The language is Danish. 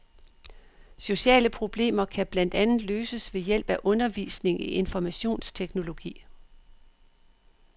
Sociale problemer kan blandt andet løses ved hjælp af undervisning i informationsteknologi.